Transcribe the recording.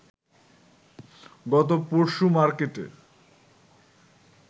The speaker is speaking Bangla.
গত পরশু মার্কেটে